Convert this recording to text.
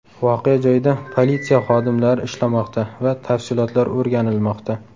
Voqea joyida politsiya xodimlari ishlamoqda va tafsilotlar o‘rganilmoqda.